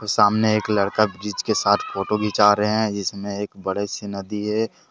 सामने एक लड़का जिसके साथ फोटो घिचा रहे हैं जिसमें एक बड़े से नदी है।